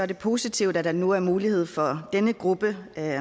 det positive at der nu bliver mulighed for at en gruppe af